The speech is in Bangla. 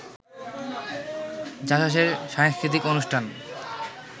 জাসাসের সাংস্কৃতিক অনুষ্ঠান